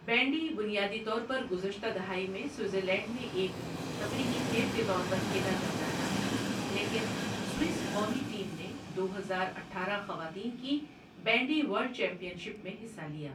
Bandy بنیادی طور پر گزشتہ دہائی میں سوئٹزرلینڈ میں ایک تفریحی کھیل کے طور پر کھیلا جاتا رہا ہے، لیکن سوئس قومی ٹیم نے دو ہزار اٹھارہ خواتین کی بینڈی ورلڈ چیمپئن شپ میں حصہ لیا۔